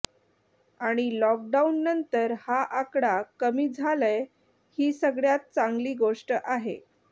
आणि लॉकडाऊननंतर हा आकडा कमी झालाय ही सगळ्यात चांगली गोष्ट आहे